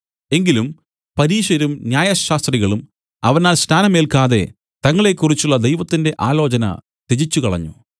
എങ്കിലും പരീശരും ന്യായശാസ്ത്രികളും അവനാൽ സ്നാനം ഏല്ക്കാതെ തങ്ങളെക്കുറിച്ചുള്ള ദൈവത്തിന്റെ ആലോചന ത്യജിച്ച് കളഞ്ഞു